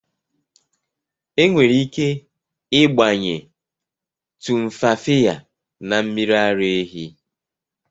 Enwere ike ịgbanye Tumfafiya na mmiri ara ehi.